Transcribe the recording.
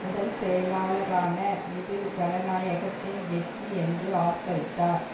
முதல் செயலாளரான இது ஜனநாயகத்தின் வெற்றி என்று ஆர்ப்பரித்தார்